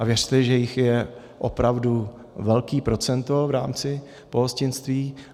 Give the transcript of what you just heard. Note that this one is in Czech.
A věřte, že jich je opravdu velké procento v rámci pohostinství.